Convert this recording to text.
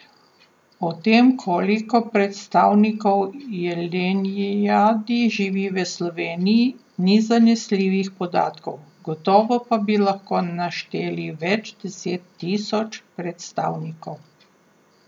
O tem, koliko predstavnikov jelenjadi živi v Sloveniji, ni zanesljivih podatkov, gotovo pa bi lahko našteli več deset tisoč predstavnikov.